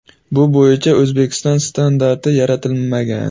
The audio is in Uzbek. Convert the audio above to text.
Bu bo‘yicha O‘zbekiston standarti yaratilmagan.